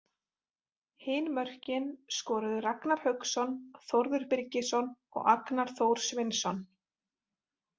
Hin mörkin skoruðu Ragnar Hauksson, Þórður Birgisson og Agnar Þór Sveinsson.